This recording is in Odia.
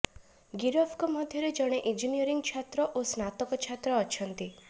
ଗିରଫଙ୍କ ମଧ୍ୟରେ ଜଣେ ଇଞ୍ଜିନିୟରିଂ ଛାତ୍ର ଓ ସ୍ନାତକ ଛାତ୍ର ଅଛନ୍ତି